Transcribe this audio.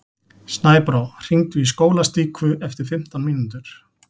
Snæbrá, hringdu í Skólastíku eftir fimmtán mínútur.